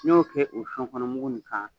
N'i y'o kɛ o nin kan.